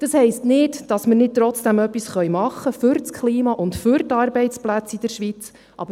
Das heisst nicht, dass wir nicht trotzdem etwas für das Klima und für die Arbeitsplätze in der Schweiz tun können.